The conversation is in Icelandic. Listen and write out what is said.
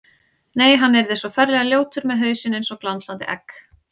Nei, hann yrði svo ferlega ljótur með hausinn eins og glansandi egg.